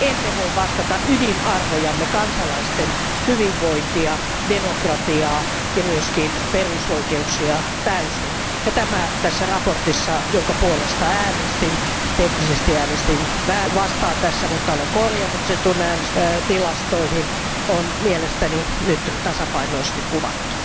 Emme voi vastata ydinarvojamme, kansalaisten hyvinvointia, demokratiaa ja myös perusoikeuksia, täysin ja tämä tässä mietinnössä, jonka puolesta äänestin, teknisesti äänestin vastaan, mutta olen korjannut sen äänestystilastoihin, on mielestäni tasapainoisesti kuvattu.